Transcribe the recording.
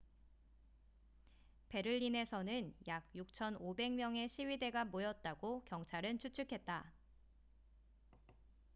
베를린에서는 약 6,500명의 시위대가 모였다고 경찰은 추측했다